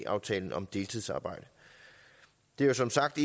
aftalen om deltidsarbejde det er som sagt